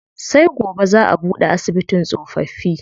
Sai gobe zaa a buɗe asibitin tsofaffi.